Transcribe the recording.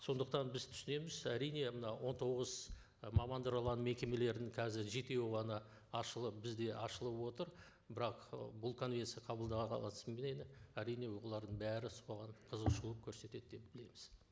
сондықтан біз түсінеміз әрине мынау он тоғыз ы мекемелердің қазір жетеуі ғана ашылып бізде ашылып отыр бірақ ы бұл конвенция әрине олардың бәрі соған қызығушылық көрсетеді деп білеміз